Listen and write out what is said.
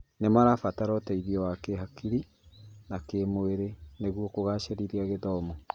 Nĩ marabatara ũteithio wa kĩhakiri na kĩmwĩrĩ nĩguo kũgacira kĩmathomo.